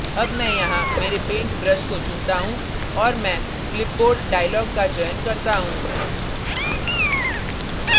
अब मैं यहाँ मेरे पेंट ब्रश को चुनता हूँ और मैं clipboard dialog का चयन करता हूँ